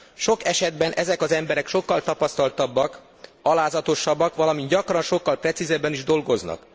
Sok esetben ezek az emberek sokkal tapasztaltabbak, alázatosabbak, valamint gyakran sokkal precízebben is dolgoznak.